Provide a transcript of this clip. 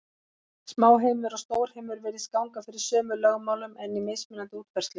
Smáheimur og stórheimur virðist ganga fyrir sömu lögmálum, en í mismunandi útfærslum.